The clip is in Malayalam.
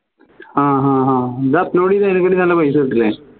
ആഹ് ഹഹഹ ഇത് upload ചെയ്തു കഴിഞ്ഞാൽ അതിനെ കാട്ടി നല്ല പൈസ കിട്ടു അല്ലേ